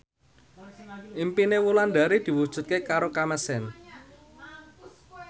impine Wulandari diwujudke karo Kamasean